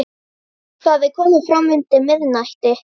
Hún stóð upp og leit út um dyrnar.